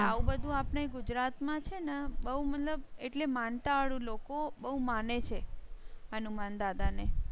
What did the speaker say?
એટલે આવું બધું આપણે ગુજરાતમાં છે ને બહુ મતલબ એટલે માનતા લોકો એવું માને છે. હનુમાનદાદા ને.